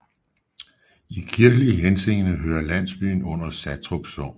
I kirkelig henseende hører landsbyen under Satrup Sogn